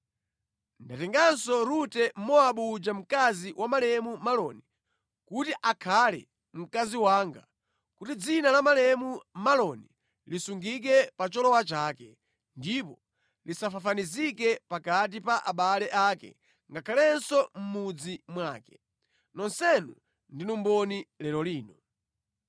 Ndatenganso Rute Mmowabu uja mkazi wa malemu Maloni, kuti akhale mkazi wanga, kuti dzina la malemu Maloni lisungike pa cholowa chake, ndipo lisafafanizike pakati pa abale ake ngakhalenso mʼmudzi mwake. Nonsenu ndinu mboni lero lino.”